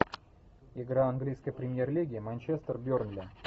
игра английской премьер лиги манчестер бернли